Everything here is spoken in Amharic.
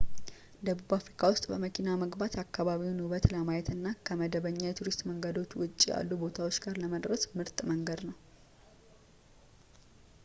ደቡብ አፍሪካ ውስጥ በመኪና መግባት የአካባቢውን ውበት ለማየት እና ከመደበኛ የቱሪስት መንገዶች ውጪ ያሉ ቦታዎች ጋር ለመድረስ ምርጥ መንገድ ነው